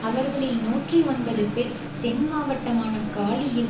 அவர்களில் நூற்றி ஒன்பது பேர் தென் மாவட்டமான காலியில்